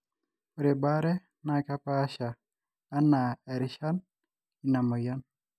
ore baare na keepasha anaa erishan ina moyian